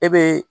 E be